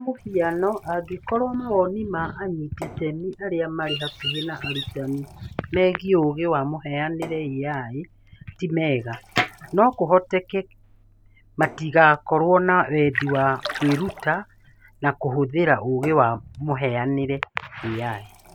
Kwa mũhiano, angĩkorũo mawoni ma anyiti itemi arĩa marĩ hakuhĩ na arutani megiĩ ũũgĩ wa mũhianĩre(AI) ti mega, no kũhoteke matigaakorũo na wendi wa kwĩruta na kũhũthĩra ũũgĩ wa mũhianĩre(AI).